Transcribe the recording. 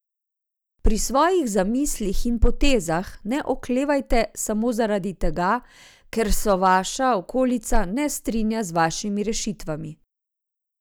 Pri svojih zamislih in potezah ne oklevajte samo zaradi tega, ker se vaša okolica ne strinja z vašimi rešitvami.